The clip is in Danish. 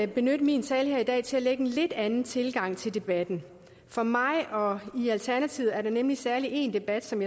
benytte min tale her i dag til at anlægge en lidt anden tilgang til debatten for mig og i alternativet er der nemlig særlig en debat som